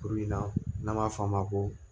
Kuru in na n'an b'a f'a ma ko